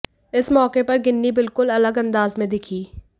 इस मौके पर गिन्नी बिल्कुल अलग अंदाज में दिखीं